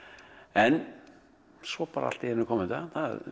en svo allt í einu kom þetta það